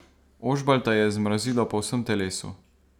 Ožbalta je zmrazilo po vsem telesu.